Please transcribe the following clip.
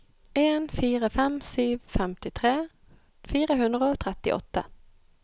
en fire fem sju femtitre fire hundre og trettiåtte